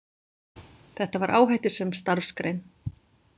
Þetta var áhættusöm starfsgrein.